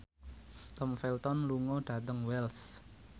Tom Felton lunga dhateng Wells